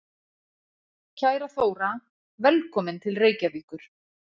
Kæra Þóra. Velkomin til Reykjavíkur.